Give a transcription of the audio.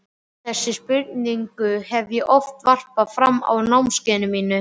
Þessari spurningu hef ég oft varpað fram á námskeiðunum mínum.